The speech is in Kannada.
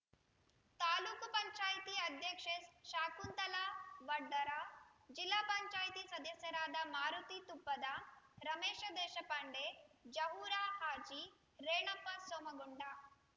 ತಾಲೂಕು ಪಂಚಾಯಿತಿ ಅಧ್ಯಕ್ಷೆ ಶಕುಂತಲಾ ವಡ್ಡರ ಜಿಲ್ಲಾ ಪಂಚಾಯತಿ ಸದಸ್ಯರಾದ ಮಾರುತಿ ತುಪ್ಪದ ರಮೇಶ ದೇಶಪಾಂಡೆ ಜಹೂರ ಹಾಜಿ ರೇಣಪ್ಪ ಸೋಮಗೊಂಡ